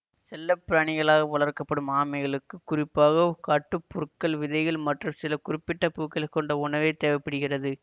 செல்ல பிராணிகளாக வளர்க்க படும் ஆமைகளுக்கு குறிப்பாக காட்டுப் புற்கள் விதைகள் மற்றும் சில குறிப்பிட்ட பூக்களை கொண்ட உணவே தேவை படுகிறது